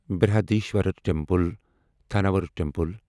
Brihadeeswarar temple Thanjavur temple